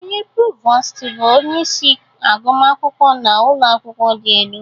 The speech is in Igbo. Onye provost bụ onye isi agụmakwụkwọ na ụlọ akwụkwọ dị elu